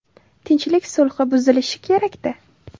Tinchlik sulhi buzilishi kerak-da.